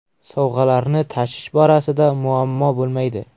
Sovg‘alarni tashish borasida muammo bo‘lmaydi.